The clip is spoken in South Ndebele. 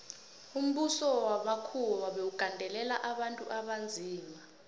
umbuso wamakhuwa bewugandelela abantu abanzima